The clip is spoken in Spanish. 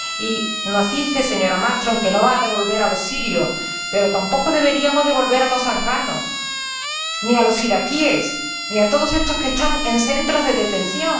Y nos dice, señora Malmström, que no va a devolver a los sirios, pero tampoco deberíamos devolver a los afganos, ni a los iraquíes ni a todos los que están en centros de detención.